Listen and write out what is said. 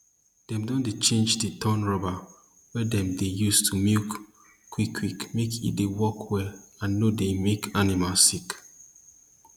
dem dey change d torn rubber wey dem dey use do milk quick quick make e dey work well and nor dey make animal sick